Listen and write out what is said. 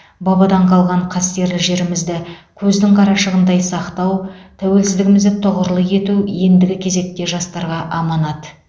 бабадан қалған қастерлі жерімізді көздің қарашығындай сақтау тәуелсіздігімізді тұғырлы ету ендігі кезекте жастарға аманат